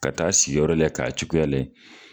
Ka taa s iyɔrɔ lajɛ ka cogoya lajɛ.